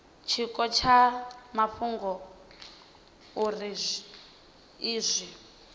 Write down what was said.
tshiko tsha mafhungo uri izwi